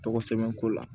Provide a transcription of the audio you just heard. Tɔgɔ sɛbɛn ko la